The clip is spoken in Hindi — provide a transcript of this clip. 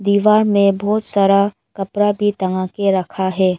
दीवार में बहुत सारा कपड़ा भी टंगा के रखा है।